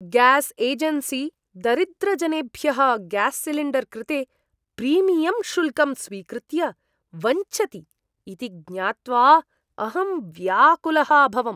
Gas agency दरिद्रजनेभ्यः gas cylinder कृते premium शुल्कं स्वीकृत्य वञ्चति इति ज्ञात्वा अहं व्याकुलः अभवम्।